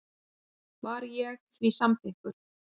Var ég því samþykkur.